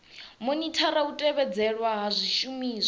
monithara u tevhedzelwa ha zwishumiswa